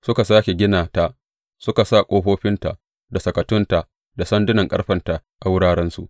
Suka sāke gina ta suka sa ƙofofinta, da sakatunta, da sandunan ƙarfenta a wurarensu.